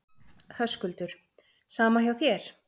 Höskuldur: Sama hjá þér?